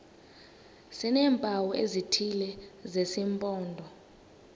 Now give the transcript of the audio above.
sineempawu ezithile zesimpondo